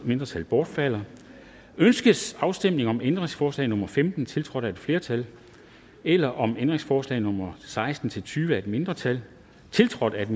mindretal bortfaldet ønskes afstemning om ændringsforslag nummer femten tiltrådt af et flertal eller om ændringsforslag nummer seksten til tyve af et mindretal tiltrådt af